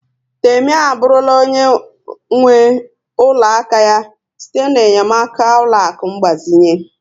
Temi abụrụla onye nwe ụlọ aka ya site na-enyemaka ụlọaku ngbazinye